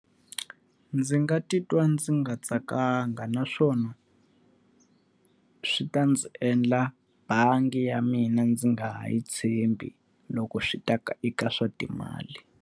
Ndzi nga titwa ndzi nga tsakanga naswona, swi ta ndzi endla bangi ya mina ndzi nga ha yi tshembi loko swi ta ka eka swa timali.